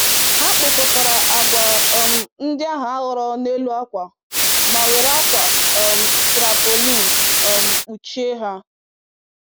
Ha kpokọtara agwa um ndị ahụ a ghọrọ n'elu akwa ma were akwa um tarpaulin um kpuchie ha.